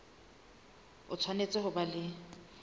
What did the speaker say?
o tshwanetse ho ba le